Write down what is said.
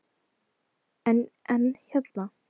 En, en hérna.